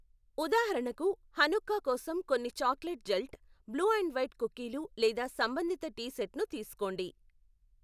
ఉదాహరణకు, హనుక్కా కోసం కొన్ని chocolate gelt, blue and white కుక్కీలు లేదా సంబంధిత టీ సెట్ను తీసుకోండి.